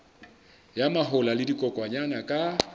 ya mahola le dikokwanyana ka